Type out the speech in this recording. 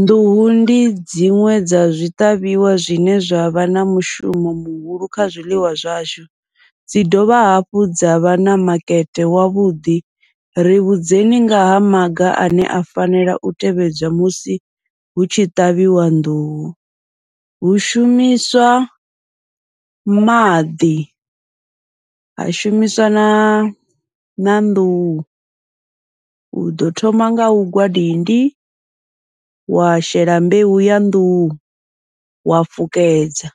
Nḓuhu ndi dziṅwe dza zwiṱavhiwa zwine zwavha na mushumo muhulu kha zwiḽiwa zwashu, dzi dovha hafhu dza vha na makete wavhuḓi ri vhudzekani ngaha maga ane a fanela u tevhedzwa musi hu tshi ṱavhiwa nḓuhu. Hu shumiswa maḓi ha shumiswa na na nḓuhu, uḓo thoma ngau gwa dindi wa shela mbeu ya nḓuhu wa fukedza